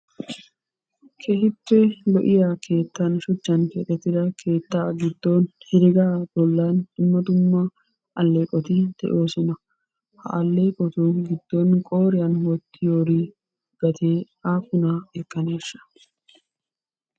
Keehippe lo'iya keettan shuchchan keexxettida keettaa giddon heregaa bollan dumma dumma alleeqoti de'osona. Ha alleeqotu giddon qooriyan wottiyori gatee aappunaa ekkaneesha?